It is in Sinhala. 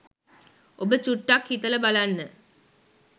ඔබ චුට්ටක් හිතල බලන්න